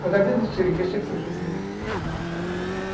Mas a vida do seringueiro sempre foi sofrida.